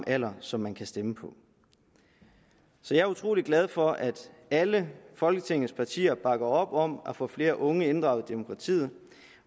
alder som man kan stemme på så jeg er utrolig glad for at alle folketingets partier bakker op om at få flere unge inddraget i demokratiet